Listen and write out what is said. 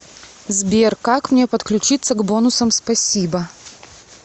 сбер как мне подключиться к бонусам спасибо